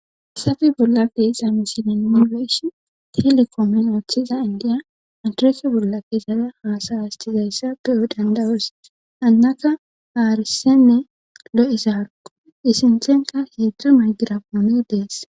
issafe bollappe ixa misile nilesh telekoomen ooththiza indiya antrese bolla kesada haasay astizayssa be7o dandawoos annaka haarisenne lo7isa harko isinthenka heedr maygirapoone dees